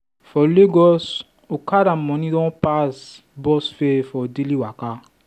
for lagos okada money don pass bus fare for daily waka.